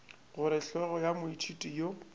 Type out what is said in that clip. gore hlogo ya moithuti yo